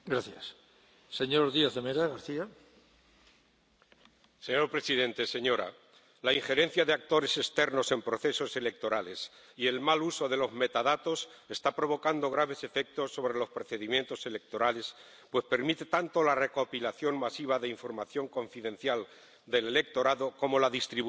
Señor presidente, señora, la injerencia de actores externos en procesos electorales y el mal uso de los metadatos están provocando graves efectos sobre los procedimientos electorales, pues permiten tanto la recopilación masiva de información confidencial del electorado como la distribución de noticias falsas generadas para atraer y desinformar.